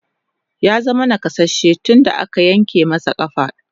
Ya zama nakasasshe tun da aka yanke masa ƙafa.